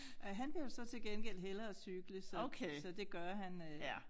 Øh han vil jo så til gengæld hellere cykle selv så det gør han øh